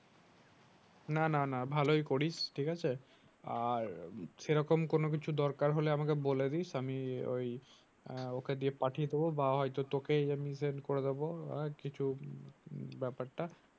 না না না ভালোই করিস ঠিক আছে। আর সেরকম কোনো কিছু দরকার হলে আমাকে বলে দিস আমি ওই আহ ওকে দিয়ে পাঠিয়ে দেবো বা হয় তো তোকে আমি sent করে দেবো আর কিছু উম ব্যাপারটা।